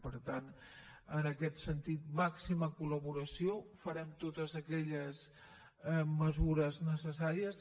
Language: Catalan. per tant en aquest sentit màxima collaboració farem totes aquelles mesures necessàries